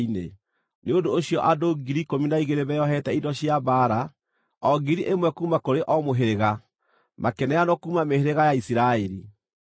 Nĩ ũndũ ũcio andũ 12,000 meeohete indo cia mbaara, o 1,000 kuuma kũrĩ o mũhĩrĩga, makĩneanwo kuuma mĩhĩrĩga ya Isiraeli.